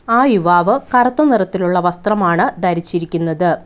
ആ യുവാവ് കറുത്ത നിറത്തിലുള്ള വസ്ത്രമാണ് ധരിച്ചിരിക്കുന്നത്.